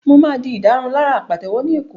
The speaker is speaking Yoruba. Mo máa di ìdárunlárà pàtẹ́wọ́ ní Èkó